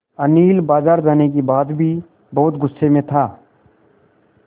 अनिल बाज़ार जाने के बाद भी बहुत गु़स्से में था